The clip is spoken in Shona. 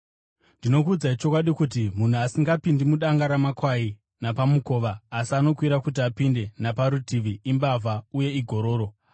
“Ndinokuudzai chokwadi kuti munhu asingapindi mudanga ramakwai napamukova, asi anokwira kuti apinde naparutivi, imbavha uye igororo.